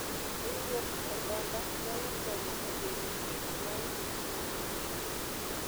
Riwruok mar oganda nyalo konyo e geng'o kich mar kich mopong'o tong'